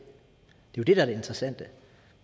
det er det er det interessante